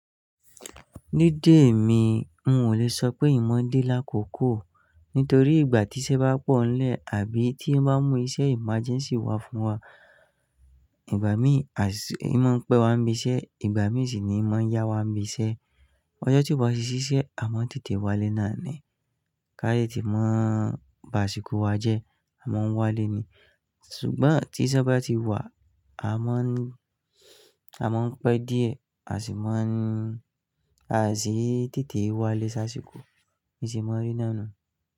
Ní dé mi, n ò le sọ pé n mọ̀ ń dé lákòókò nítorí ìgbà tí iṣẹ́ bá pọ̀ ńlẹ̀ àbí tí ó bá mú iṣẹ́ emergency wá fún wa, ìgbà mí à sì ń mọ̀ ń pẹ́ wá ń bí iṣẹ́, ìgbà mí sì ni ń mọ̀ ń yá wá ń bí iṣẹ́. Ọjọ́ tí ó bá si ṣiṣẹ́, a máa ń tètè wálé nàá ni. Káyẹ́ tí mọn bá ṣìkú wa jẹ́, a máa ń wálé ni. Ṣùgbọ́n tí iṣẹ́ bá ti wá, a máa ń, a máa ń pẹ́ díẹ̀, a sì má ń, a sì tètè wálé ṣáṣìkò, bí se máa n rí náà nùu.